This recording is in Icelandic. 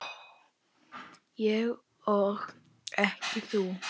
Ég og ekki þú.